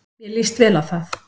Mér lýst vel á það.